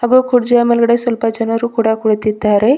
ಹಾಗೆ ಕುರ್ಚಿಯ ಮೇಲ್ಗಡೆ ಸ್ವಲ್ಪ ಜನರು ಕೂಡ ಕುಳತಿದ್ದಾರೆ.